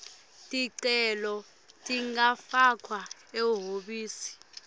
ticelo tingafakwa ehhovisi